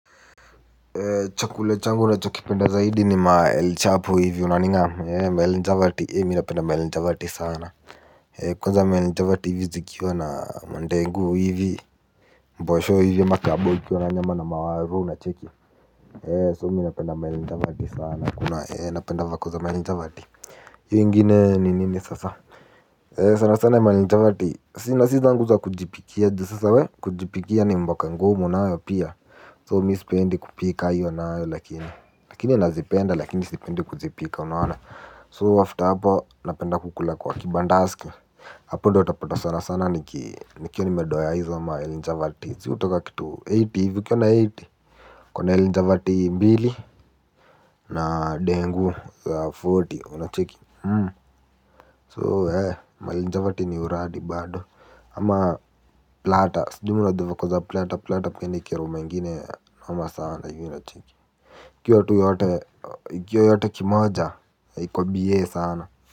Chakula changu ninachokipenda zaidi ni ma el chapo hivi unaning'am ee ma el chapati mimi napenda ma el chapati sana. Kwanza ma el chapati hivi zikiwa na mandegu hivi. Mbosho hivi ama kabowl ikiwa na nyama na mawaru unacheki So mimi napenda ma el chapati sana kuna napenda vako za ma el chapati. Hio ingine ni nini sasa. Sana sana ma el chapati sina si zangu za kujipikia juu sasa we kujipikia ni mboka ngumu nayo pia so mimi sipendi kupika hiyo nayo lakini lakini nazipenda lakini sipendi kuzipika unaona So after hapo napenda kukula kwa kibandaski. Hapo ndio utapata sana sana nikiwa nimedoya hizo ma el chapati si hutoka kitu themanini hivi ukiona themanini ukona el chapati mbili na ndengu ya arobaini unacheki So eh ma el chapati ni uradi bado. Ama plata sijui mnajua vako za plata Plata pia ni kiroma ingine noma sana hivyo unacheki ikiwa yote kimoja iko bie sana.